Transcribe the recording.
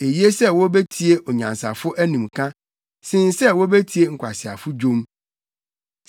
Eye sɛ wobetie onyansafo animka sen sɛ wobetie nkwaseafo dwom.